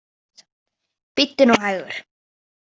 Bíddu nú hægur.